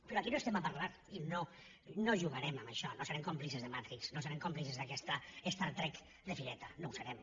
però aquí no estem per parlar i no jugarem amb això no serem còmplices de matrix no serem còmplices d’aquesta star trek de fireta no ho serem